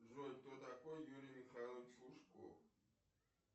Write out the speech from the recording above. джой кто такой юрий михайлович лужков